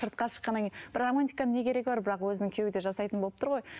сыртқа шыққаннан кейін бірақ романтиканың не керегі бар бірақ өзінің күйеуі жасайтын болып тұр ғой